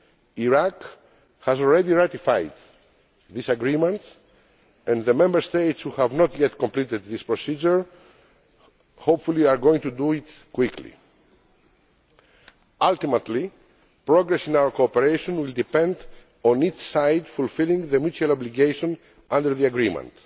Iraq has already ratified this agreement and the Member States who have not yet completed this procedure are hopefully going to do so quickly. Ultimately, progress in our cooperation will depend on each side fulfilling the mutual obligation under the Agreement.